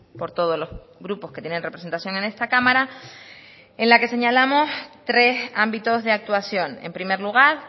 por todos los grupos que tienen representación en esta cámara en la que señalamos tres ámbitos de actuación en primer lugar